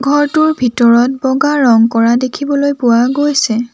ঘৰটোৰ ভিতৰত বগা ৰং কৰা দেখিবলৈ পোৱা গৈছে।